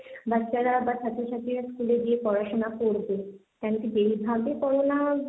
বাচ্চারা বা ছাত্রছাত্রীরা স্কুলে গিয়ে পড়াশোনা করবে, কেন কি যেইভাবে করোনা,